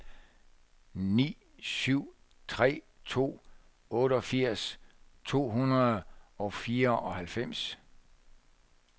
ni syv tre to otteogfirs to hundrede og fireoghalvfems